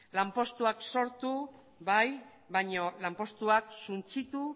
lanpostuak sortu bai baina lanpostuak suntsitu